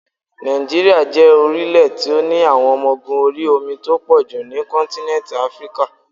Nàìjíríà jẹ́ orílẹ̀ tí ó ní àwọn ọmọ ogún orí omi tó pọ̀jù ní kọ́ntínẹ́ntì Áfríkà.